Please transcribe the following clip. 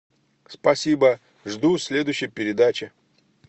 спасибо жду следующей передачи